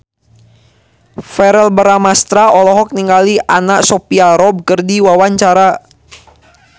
Verrell Bramastra olohok ningali Anna Sophia Robb keur diwawancara